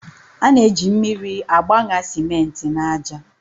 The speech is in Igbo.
A na-eji mmiri agbaṅa simenti na aja.